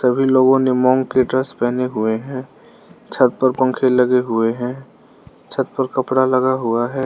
सभी लोगों ने की ड्रेस पहने हुए हैं छत पर पंखे लगे हुए हैं छत पर कपड़ा लगा हुआ है।